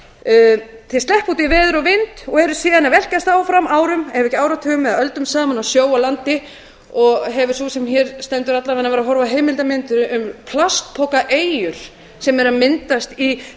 út í veður og vind og eru síðan að velkjast áfram árum ef ekki áratugum eða öldum saman á sjó og landi og hefur sú sem hér stendur alla vega verið að horfa á heimildarmyndir um plastpokaeyjar sem eru að myndast í